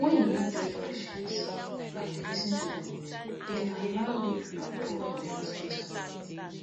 wen you no judge patients and you lis ten to dem well e dey allow good rapport for the hospital